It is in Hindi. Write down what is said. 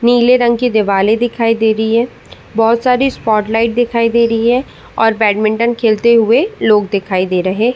नीले रंग की दीवाले दिखाई दे रही है। बी बहोत सारी स्पॉट लाइट दिखाई दे रही है और बैडमिंटन खेलते हुए लोग दिखाई दे रहे--